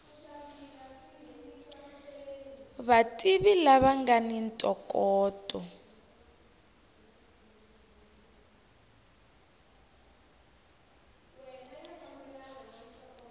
vativi lava nga ni ntokoto